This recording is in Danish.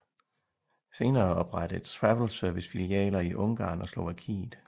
Senere oprettede Travel Service filialer i Ungarn og Slovakiet